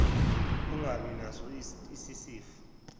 ungabi naso isifiso